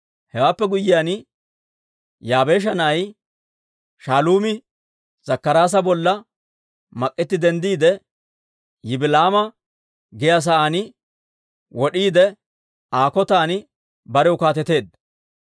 Hewaappe guyyiyaan, Yaabeesha na'ay Shaaluumi Zakkaraasa bolla mak'etti denddiide, Yibila'aama giyaa saan wod'iide Aa kotan barew kaateteedda.